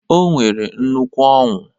O nwere nnukwu Ọńụ